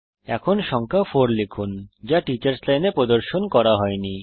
এখন সংখ্যা 4 লিখুন যা টিচার্স লাইন এ প্রদর্শন করা হয়নি